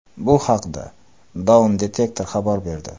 Bu haqda Downdetector xabar berdi .